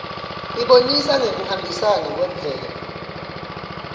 ibonisa ngekuhambisana kwemvelo